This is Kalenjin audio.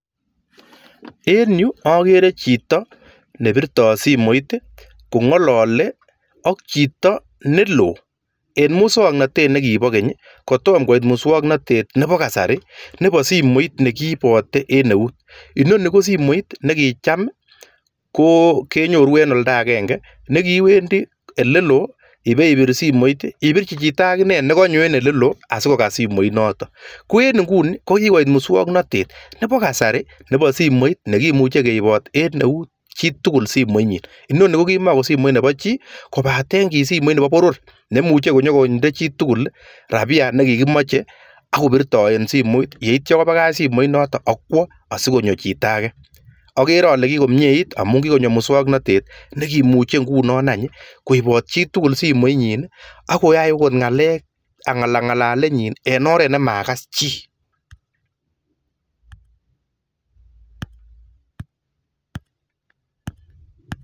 En yu akerei chito nebirei simoit kobirjin chi neloo akong'alaljin amuu simoini keboishe en kasarta Nebo Keny nekimomii keljin Nebo naet ab ng'alalet